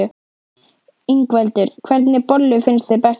Ingveldur: Hvernig bollur finnst þér bestar?